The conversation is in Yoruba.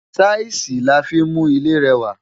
Táìsì la fí ń mú ilé rẹwà.